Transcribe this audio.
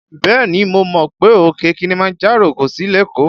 Bẹ́ẹ̀ni mo mọ̀ pé òkè Kilimanjaro kò sí lékòó